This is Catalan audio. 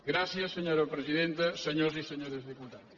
gràcies senyora presidenta senyors i senyores diputats